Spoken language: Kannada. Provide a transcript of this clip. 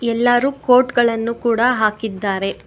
ಎಲ್ಲಾರು ಕೋಟ್ ಗಳನ್ನು ಕೂಡಾ ಹಾಕಿದ್ದಾರೆ.